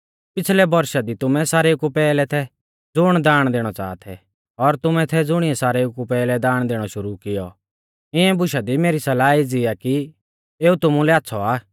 पिछ़लै बौरशा दी तुमै सारेऊ कु पैहलै थै ज़ुण दाण दैणौ च़ाहा थै और तुमै थै ज़ुणीऐ सारेऊ कु पैहलै दाण दैणौ शुरु कियौ इऐं बुशा दी मेरी सलाह एज़ी आ कि एऊ तुमुलै आच़्छ़ौ आ